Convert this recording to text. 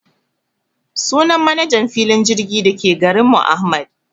Sunan manajan filin jirgin dake garinmu Ahmad